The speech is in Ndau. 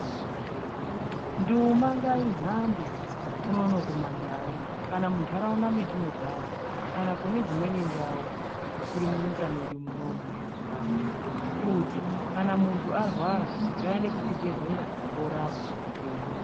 Nduma ngaihambe unono kumandau kana muntaraunda mwetinogara kana kune dzimweni ndau dzisiri munyika medu munomu mezimbabwe kuti kana muntu arwara ngaaende kuchibhedhlera ondorapwa opona.